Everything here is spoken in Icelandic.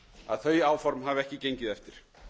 að þau áform hafa ekki gengið eftir